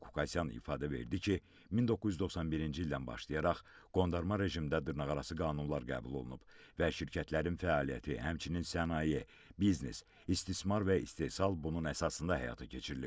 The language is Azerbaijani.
Arkadi Qukasyan ifadə verdi ki, 1991-ci ildən başlayaraq qondarma rejimdə dırnaqarası qanunlar qəbul olunub və şirkətlərin fəaliyyəti, həmçinin sənaye, biznes, istismar və istehsal bunun əsasında həyata keçirilib.